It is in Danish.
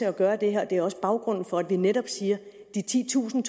at gøre det her og det er også baggrunden for at vi netop siger at de titusind